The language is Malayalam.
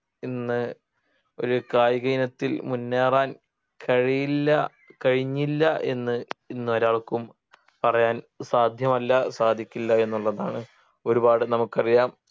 ഇന്ന് ഒരു കായിക ഇനത്തിൽ മുന്നേറാൻ കഴിയില്ല കഴിഞ്ഞില്ല എന്ന് ഇന്ന് ഒരാൾക്കും പറയാൻ സാധ്യമല്ല സാധിക്കില്ല എന്നുള്ളതാണ് ഒരുപാട് നമുക്കറിയാം